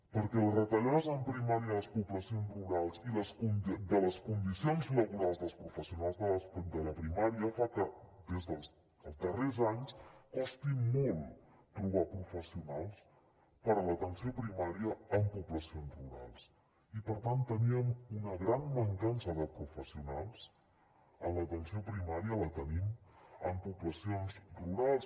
perquè les retallades en primària a les poblacions rurals i de les condicions laborals dels professionals de la primària fan que des dels darrers anys costi molt trobar professionals per a l’atenció primària en poblacions rurals i per tant teníem una gran mancança de professionals en l’atenció primària la tenim en poblacions rurals